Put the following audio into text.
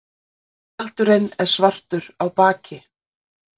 tjaldurinn er svartur á baki